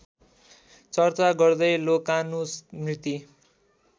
चर्चा गर्दै लोकानुस्मृति